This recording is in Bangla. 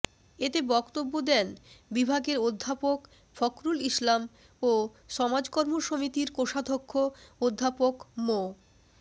এতে বক্তব্য দেন বিভাগের অধ্যাপক ফখরুল ইসলাম ও সমাজকর্ম সমিতির কোষাধ্যক্ষ অধ্যাপক মো